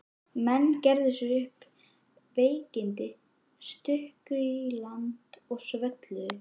Menn gerðu sér upp veikindi, struku í land og svölluðu.